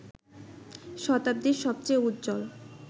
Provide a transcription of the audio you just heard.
শতাব্দীর সবচেয়ে উজ্জ্বল